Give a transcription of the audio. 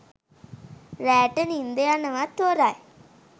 රෑට නින්ද යනවත් හොරයි.